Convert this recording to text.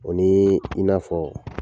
O ni i n'afɔ